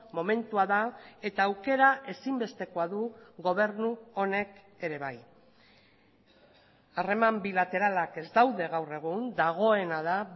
momentua da eta aukera ezinbestekoa du gobernu honek ere bai harreman bilateralak ez daude gaur egun dagoena da